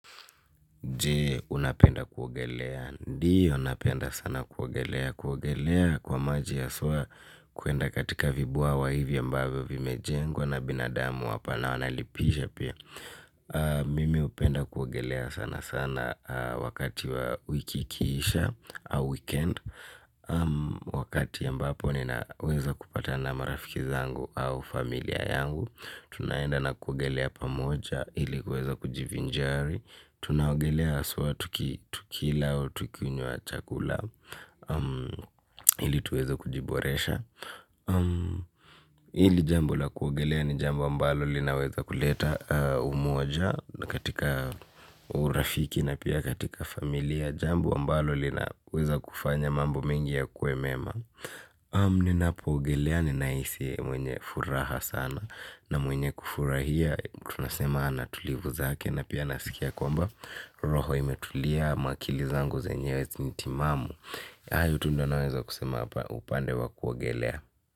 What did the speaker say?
Je unapenda kuogelea? Ndio napenda sana kuogelea, kuogelea kwa maji haswa kuenda katika vibwawa hivyo ambavyo vimejengwa na binadamu hapa na wanalipisha pia Mimi hupenda kuogelea sana sana wakati wa wiki ikiisha au weekend. Wakati ambapo ninaweza kupatana marafiki zangu au familia yangu. Tunaenda na kuogelea pamoja ili kuweza kujivinjari. Tunaogelea haswa tukila au tukinywa chakula ili tuweze kujiboresha. Hili jambo la kuogelea ni jambo ambalo linaweza kuleta umoja, katika urafiki na pia katika familia. Jambo ambalo linaweza kufanya mambo mengi yakuwe mema. Ninapo ogelea nina hisi mwenye furaha sana, na mwenye kufurahia tunasema ana tulivu zake na pia nasikia kwamba roho imetulia ama akili zangu zenyewe ni timamu hayo tu ndio naweza kusema upande wa kuogelea.